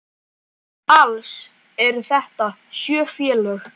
Alls eru þetta sjö félög.